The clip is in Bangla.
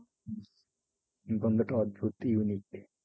গন্ধটা অদ্ভুত unique.